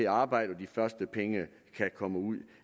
arbejde og de første penge kan komme ud